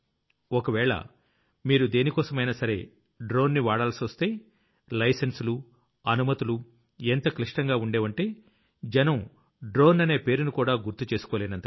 ఒకవేళ మీరు దేనికోసమైనా సరే డ్రోన్ ని వాడాల్సొస్తే లైసెన్సులు అనుమతులు ఎంత క్లిష్టంగా ఉండేవంటే జనం డ్రోన్ అనే పేరునికూడా గుర్తు చేసుకోలేనంతగా